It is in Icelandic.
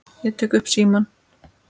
Ég tek upp símann.